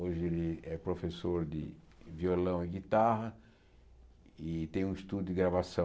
Hoje ele é professor de violão e guitarra e tem um estudio de gravação.